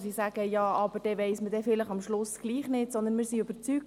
Diese sagt, am Schluss wisse man dann doch nicht, was man habe.